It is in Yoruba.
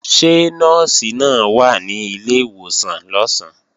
Ṣé Nọ́ọ̀sì náà wà ní ilé ìwòsàn lọ̀sán?